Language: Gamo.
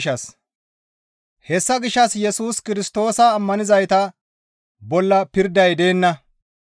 Hessa gishshas Yesus Kirstoosa ammanizayta bolla pirday deenna.